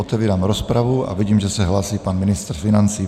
Otevírám rozpravu a vidím, že se hlásí pan ministr financí.